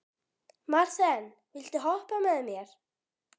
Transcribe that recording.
Marthen, viltu hoppa með mér?